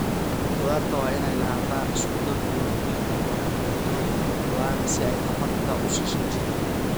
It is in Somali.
Quraacdu waa inay lahaataa isku-dar borotiin, karbohaydraytyo, iyo khudaar si ay tamar u siiso jidhka.